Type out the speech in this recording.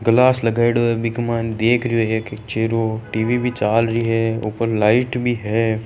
गलास लगायोड़ो है बीक मायने देख रयो है चेहरो टी.वी भी चालरी है ऊपर लाईट भी है।